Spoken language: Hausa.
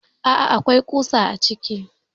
Aa akwai ƙusa a ciki.